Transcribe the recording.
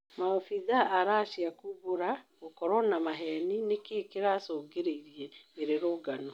Mabithaa a Racia kumbũra gukorwo na maheni nĩkĩ kĩracũngĩrĩirie mĩrũrũngano